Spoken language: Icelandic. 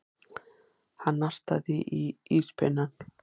Hann nartaði í íspinnann.